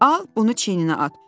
Al, bunu çiyninə at.